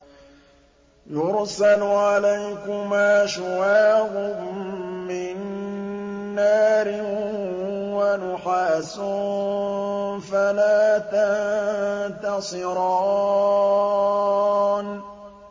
يُرْسَلُ عَلَيْكُمَا شُوَاظٌ مِّن نَّارٍ وَنُحَاسٌ فَلَا تَنتَصِرَانِ